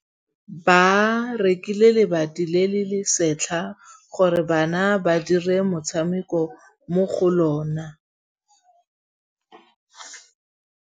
Ba rekile lebati le le setlha gore bana ba dire motshameko mo go lona.